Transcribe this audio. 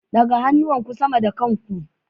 Ɗaga hannuwanku sama da kan ku.